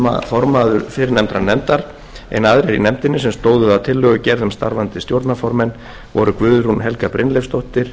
formaður viðskiptalífsnefndar en aðrir í nefndinni sem stóðu að tillögugerð um starfandi stjórnarformenn voru guðrún helga brynleifsdóttir